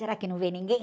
Será que não vê ninguém?